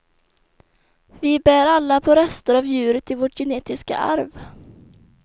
Vi bär alla på rester av djuret i vårt genetiska arv.